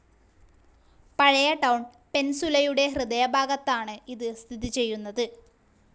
പഴയ ടൌൺ പെൻസുലയുടെ ഹൃദയഭാഗത്തായാണ് ഇത് സിഥിതിചെയുനത്.